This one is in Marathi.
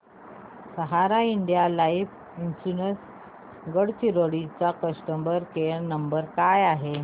सहारा इंडिया लाइफ इन्शुरंस गडचिरोली चा कस्टमर केअर नंबर काय आहे